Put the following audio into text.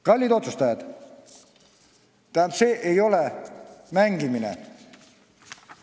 Kallid otsustajad, see ei ole mäng!